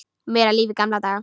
Meira líf í gamla daga?